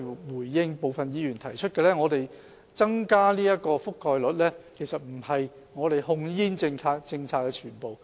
回應部分議員提出的意見，增加健康忠告的覆蓋率其實不是我們控煙政策的全部。